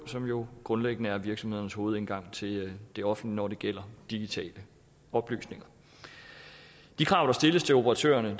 som jo grundlæggende er virksomhedernes hovedindgang til det offentlige når det gælder digitale oplysninger de krav der stilles til operatører